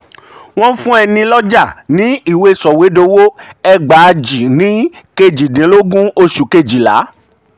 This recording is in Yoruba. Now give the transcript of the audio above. wọ́n fún ẹni lọ́jà ní ìwé sọ̀wédowó ẹgbàajì ní kejìdínlọ́gbọ̀n oṣù kejìlá.